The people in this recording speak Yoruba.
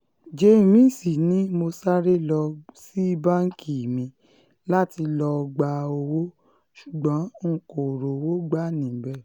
james ni mo sáré lọ sí báńkì mi láti lọ́ọ́ gba owó ṣùgbọ́n n kò rówó gbà níbẹ̀